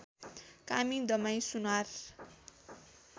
कामी दमाई सुनार